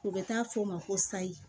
U bɛ taa fɔ o ma ko sayi